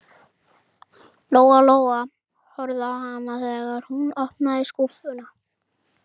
Lóa Lóa horfði á hana þegar hún opnaði skúffuna.